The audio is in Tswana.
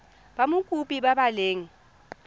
ba mokopi ba ba leng